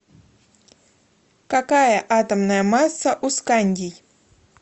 какая атомная масса у скандий